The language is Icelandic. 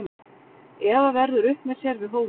Eva verður upp með sér við hólið.